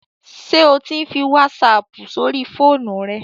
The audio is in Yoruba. Ṣé o ti ń fi wásaapù sóri fóònù rẹ?